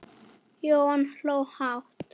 Jóhann hló hátt.